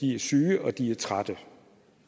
er syge og de er trætte